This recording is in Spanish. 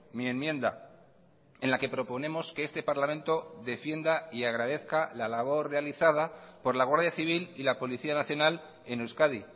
mi enmienda en la que proponemos que este parlamento defienda y agradezca la labor realizada por la guardia civil y la policía nacional en euskadi